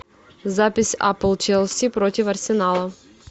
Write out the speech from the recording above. запись апл челси против арсенала